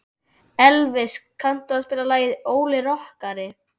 Elvis, kanntu að spila lagið „Óli rokkari“?